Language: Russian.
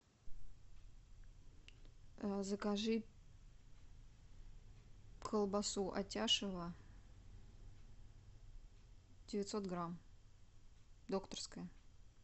закажи колбасу атяшево девятьсот грамм докторская